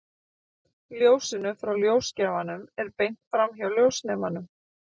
Ljósinu frá ljósgjafanum er beint framhjá ljósnemanum.